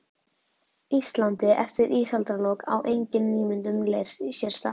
Íslandi eftir ísaldarlok, á engin nýmyndun leirs sér stað.